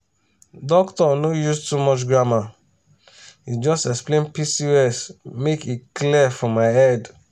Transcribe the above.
doctor no use too much grammar e just explain pcos make e clear for my head.